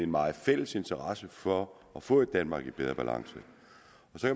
meget fælles interesse for at få et danmark i bedre balance